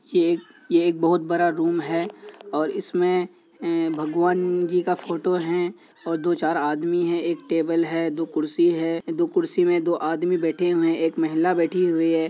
ये एक ये एक बहुत बड़ा रूम है और इसमें ए भगवान जी का फोटो है और दो चार आदमी है| एक टेबल है दो कुर्सी है। दो कुर्सी में दो आदमी बैठे हुए हैं एक महिला बैठी हुई है।